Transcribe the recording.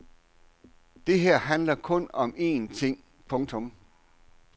Det her handler kun om en ting. punktum